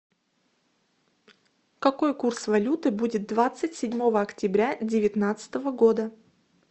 какой курс валюты будет двадцать седьмого октября девятнадцатого года